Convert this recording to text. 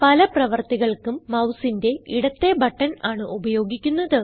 പല പ്രവർത്തികൾക്കും മൌസിന്റെ ഇടത്തേ ബട്ടൺ ആണ് ഉപയോഗിക്കുന്നത്